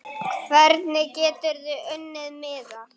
Hvernig geturðu unnið miða?